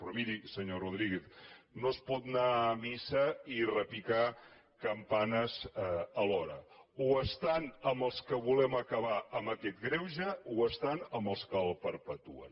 però miri senyor rodríguez no es pot anar a missa i repicar campanes alhora o estan amb els que volem acabar amb aquest greuge o estan amb els que el perpetuen